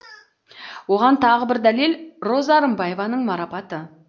оған тағы бір дәлел роза рымбаеваның марапаты